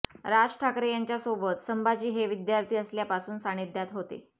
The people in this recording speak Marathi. राज ठाकरे यांच्या सोबत संभाजी हे विद्यार्थी असल्यापासून सानिध्यात होते